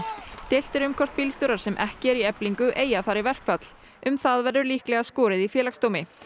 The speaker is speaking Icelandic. deilt er um hvort bílstjórar sem eru ekki í Eflingu eigi að fara í verkfall um það verður líklega skorið í Félagsdómi